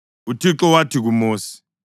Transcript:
UThixo wathi kuMosi,